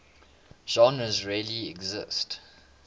genres really exist